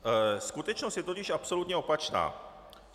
Skutečnost je totiž absolutně opačná.